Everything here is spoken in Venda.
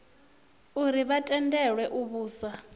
uri vha tendelwe u vhusa